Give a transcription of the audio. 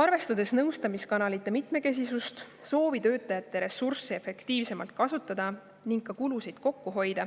Arvestades nõustamiskanalite mitmekesisust, soovi tööjõu ressursse efektiivsemalt kasutada ning ka kulusid kokku hoida,